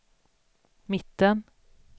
mitten